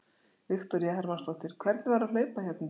Viktoría Hermannsdóttir: Hvernig var að hlaupa hérna í dag?